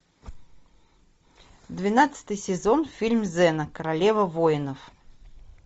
двенадцатый сезон фильм зена королева воинов